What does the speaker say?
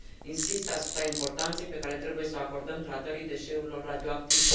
Insist asupra importanței pe care trebuie s o acordăm tratării deșeurilor radioactive.